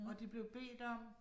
Og de blev bedt om